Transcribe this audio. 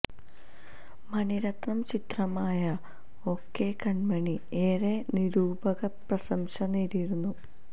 മണിരത്നം ചിത്രമായ O K Kanmani ഏറെ നിരൂപക പ്രശംസ നേടിയിരുന്നു